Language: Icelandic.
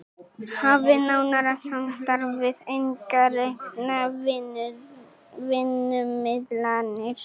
Hafi nánara samstarf við einkareknar vinnumiðlanir